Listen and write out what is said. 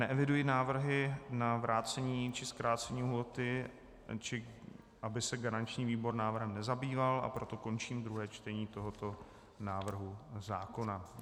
Neeviduji návrhy na vrácení či zkrácení lhůty, či aby se garanční výbor návrhem nezabýval, a proto končím druhé čtení tohoto návrhu zákona.